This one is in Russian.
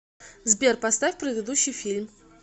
сбер поставь предыдущий фильм